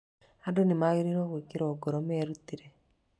Andũ nĩ magĩrĩirũo gwĩkĩrũo ngoro merutĩre